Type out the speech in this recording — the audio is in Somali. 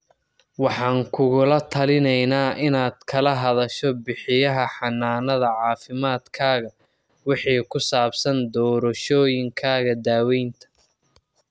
Waxaan kugula talineynaa inaad kala hadasho bixiyaha xanaanada caafimaadkaaga wixii ku saabsan doorashooyinkaaga daawaynta.